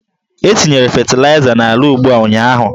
E tinyere fetịlaịza n'ala ugbo a ụnyaahụ.